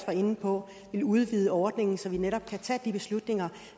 var inde på kan udvide ordningen så man netop kan tage de beslutninger